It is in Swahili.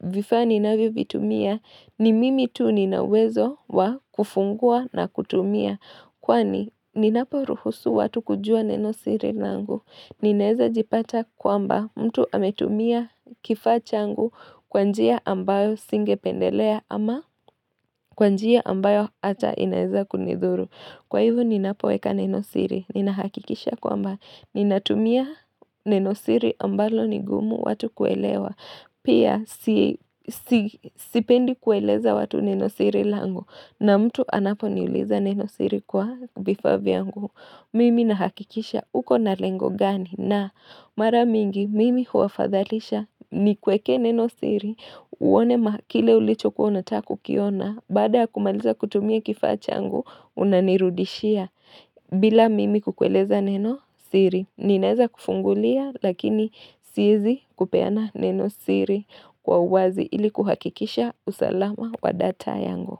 vifaa ninavyovitumia ni mimi tu nina uwezo wa kufungua na kutumia. Kwani ninaporuhusu watu kujua neno siri nangu. Ninaeza jipata kwamba mtu ametumia kifaa changu kwa njia ambayo singependelea ama kwa njia ambayo ata inaeza kunidhuru. Kwa hivyo ninapoweka nenosiri, ninahakikisha kwamba ninatumia nenosiri ambalo ni gumu watu kuelewa. Pia sipendi kueleza watu nenosiri langu na mtu anaponiuliza nenosiri kwa vifaa vyangu. Mimi nahakikisha uko na lengo gani na mara mingi mimi huwafadhalisha nikuweke neno siri uone kile ulichokuwa unatakukiona baada ya kumaliza kutumia kifaa changu unanirudishia bila mimi kukueleza neno siri ninaeza kufungulia lakini siezi kupeana neno siri kwa uwazi ili kuhakikisha usalama wa data yangu.